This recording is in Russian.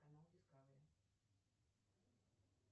канал дискавери